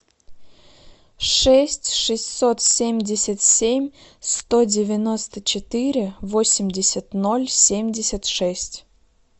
шесть шестьсот семьдесят семь сто девяносто четыре восемьдесят ноль семьдесят шесть